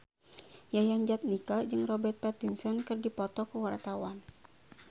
Yayan Jatnika jeung Robert Pattinson keur dipoto ku wartawan